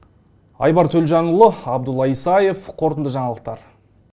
айбар төлжанұлы абдулла исаев қорытынды жаңалықтар